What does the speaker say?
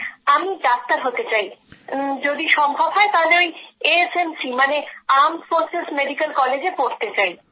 আমি ডাক্তার হতে চাই যদি সম্ভব হয় তাহলে এএফএমসি মানে সশস্ত্র বাহিনীর মেডিক্যাল কলেজে পড়তে চাই